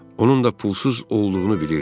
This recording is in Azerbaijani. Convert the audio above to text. Onun da pulsuz olduğunu bilirdi.